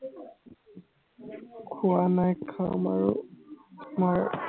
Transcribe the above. খোৱা নাই কাম আৰু মই